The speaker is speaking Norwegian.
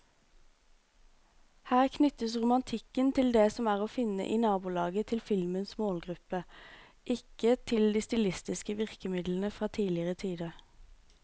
Her knyttes romantikken til det som er å finne i nabolaget til filmens målgruppe, ikke til de stilistiske virkemidlene fra tidligere tider.